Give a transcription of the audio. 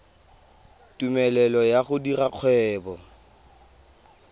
tumelelo ya go dira kgwebo